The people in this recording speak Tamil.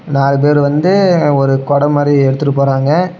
நாலு பேரு வந்து ஒரு கொட மாரி எடுத்துட்டு போறாங்க.